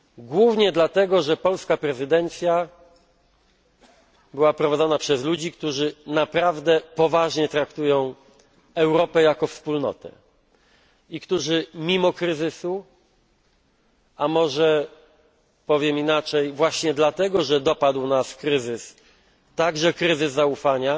Głównie dlatego, że polska prezydencja była prowadzona przez ludzi, którzy naprawdę poważnie traktują Europę jako wspólnotę i którzy mimo kryzysu, a może powiem inaczej właśnie dlatego, że dopadł nas kryzys, także kryzys zaufania